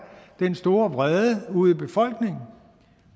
den store vrede ude i befolkningen